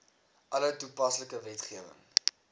alle toepaslike wetgewing